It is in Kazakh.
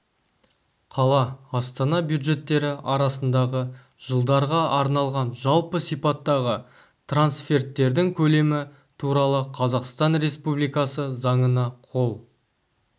қала астана бюджеттері арасындағы жылдарға арналған жалпы сипаттағы трансферттердің көлемі туралы қазақстан республикасы заңына қол